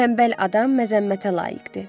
Tənbəl adam məzəmmətə layiqdir.